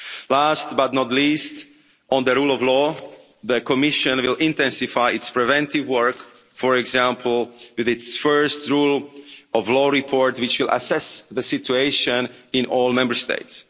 Last but not least, on the rule of law, the Commission will intensify its preventive work, for example, with its first rule of law report, which will assess the situation in all Member